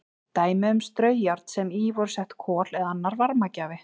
Dæmi um straujárn sem í voru sett kol eða annar varmagjafi.